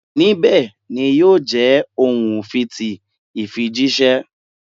Nibẹ ni yio je ohun fii ti ifijiṣẹ